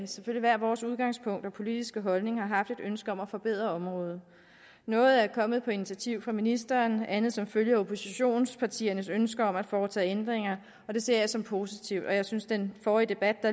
hvert vores udgangspunkt og politiske holdninger har haft et ønske om at forbedre området noget er kommet på initiativ af ministeren andet som følge af oppositionspartiernes ønske om at foretage ændringer det ser jeg som positivt og jeg synes at den forrige debat